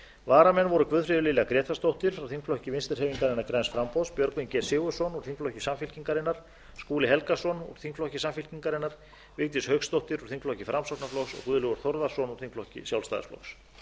varamenn voru guðfríður lilja grétarsdóttir frá þingflokki vinstri hreyfingarinnar græns framboðs björgvin g sigurðsson úr þingflokki samfylkingarinnar skúli helgason úr þingflokki samfylkingarinnar vigdís hauksdóttir úr þingflokki framsóknarflokks og guðlaugur þór þórðarson úr þingflokki sjálfstæðisflokks